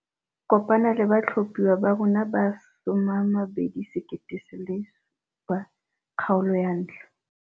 Kopana le batlhophiwa ba rona ba 2017, kgaolo ya 1.